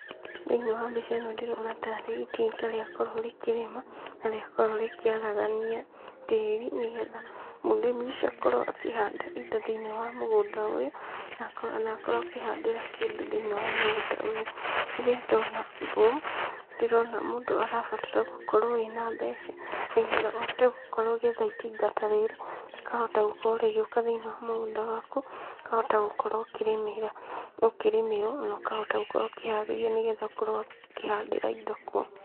Thĩinĩ wa mbica ĩno ndĩrona tarĩ itinga rĩakorwo rĩkĩrĩma na rĩakorwo rĩkĩaragania tĩri nĩgetha mũrĩmi ũcio akorwo akĩhanda indo thĩinĩ wa mũgũnda ũyũ, na akorwwo akĩhandĩra kĩndũ thĩinĩ wa mũgũnda ũyũ, rĩrĩa ndona ũũ, ndĩrona mũndũ arabatara gũkorwo wĩna mbeca nĩgetha ũhote gũkorwo ũgĩetha itinga ta rĩrĩ, rĩkahota gũkorwo rĩgĩũka thĩinĩ wa mũgũnda waku, ũkahota gũkorwo ũkĩrĩmĩra ũkĩrĩmĩrwo na ũkahota gũkorwo ũkĩharĩria nĩgetha ũkorwo ũkĩhandĩra indo kuo.